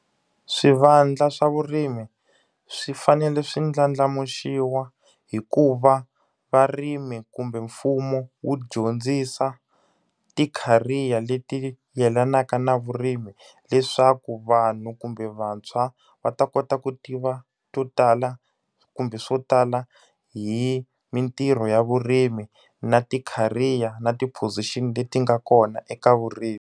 Swivandla swa vurimi swi fanele swi ndlandlamuxiwa hi ku va varimi kumbe mfumo wu dyondzisa ti-career leti yelanaka na vurimi. Leswaku vanhu kumbe vantshwa va ta kota to tiva to tala kumbe swo tala hi mintirho ya vurimi, na ti-career, na ti-position leti nga kona eka vurimi.